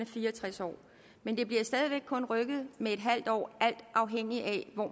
fire og tres år men det bliver stadig væk kun rykket med en halv år alt afhængig af hvor